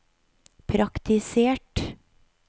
praktisert